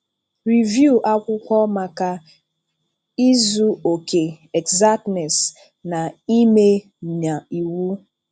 Rèvìù akwụkwọ maka izù okè, èxàctnèss, na ime na iwu.